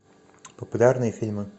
популярные фильмы